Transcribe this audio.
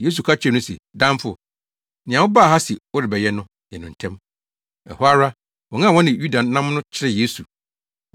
Yesu ka kyerɛɛ no se, “Damfo, nea wobaa ha se worebɛyɛ no, yɛ no ntɛm.” Ɛhɔ ara, wɔn a wɔne Yuda nam no kyeree Yesu.